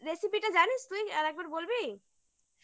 recipe টা জানিস তুই আর একবার বলবি